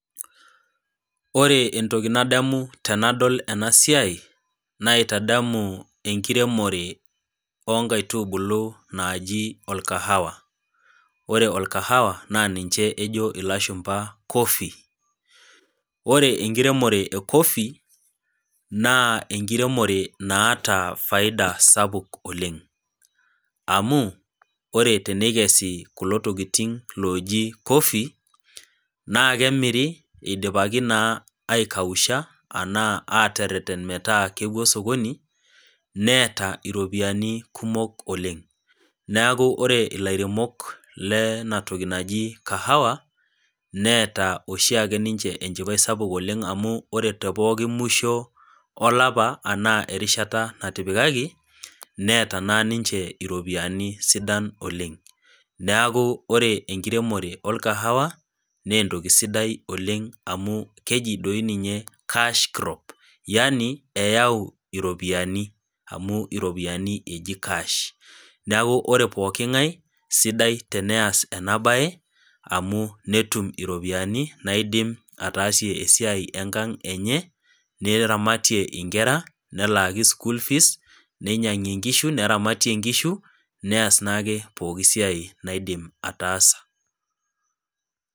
Ore entoki nadamu tanadol enasiai naitadamu enkiremore onkaitubulu naji orkahawa ore orkahawa na ninche ejo lashumba coffee ore enkiremore e coffee na enkiremore naata faida sapuk oleng amu ore tenekesi kulo tokitin oji cofee na kemiri idipaki aikausha anaa ateren metaa kepuo osokoni neeta ropiyani kumok oleng neaku ore lairemok lenatoki naji Kahawa neeta oshi ake ninche enchipae amu ore temusho olapa ana erishata natipikaki neakuore enkiremore orkahawa na entoki sidai oleng amu keji ninye cash crop yani iropiyiani amu iropiyiani eji cash neaku ore pooki ngae peas enabae amu netum iropiyani naidim ataasie esiai enkang enye neramatie inkera nelaaki nkera schoolfees, ninyangu nkishu neramatie neas naake pooki siai naidim ataasa.